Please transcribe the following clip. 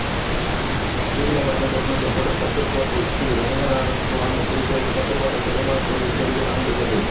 சிதிலமடைந்து புனர்நிர்மாணிக்கப்படும் பட்டுக்கோட்டை ஸ்ரீரங்கநாதசுவாமி திருக்கோயில் பட்டுக்கோட்டை பெருமாள் கோவில் தெருவில் அமைந்துள்ளது